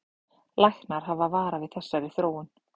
Læknar hafa varað við þessari þróun